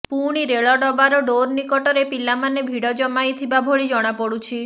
ପୁଣି ରେଳ ଡବାର ଡୋର ନିକଟରେ ପିଲାମାନେ ଭିଡ଼ ଜମାଇ ଥିବା ଭଳି ଜଣାପଡୁଛି